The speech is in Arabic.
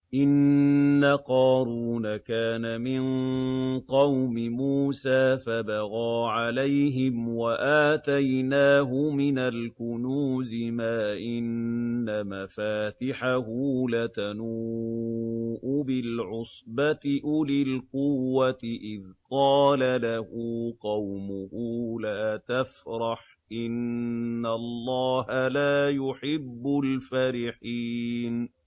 ۞ إِنَّ قَارُونَ كَانَ مِن قَوْمِ مُوسَىٰ فَبَغَىٰ عَلَيْهِمْ ۖ وَآتَيْنَاهُ مِنَ الْكُنُوزِ مَا إِنَّ مَفَاتِحَهُ لَتَنُوءُ بِالْعُصْبَةِ أُولِي الْقُوَّةِ إِذْ قَالَ لَهُ قَوْمُهُ لَا تَفْرَحْ ۖ إِنَّ اللَّهَ لَا يُحِبُّ الْفَرِحِينَ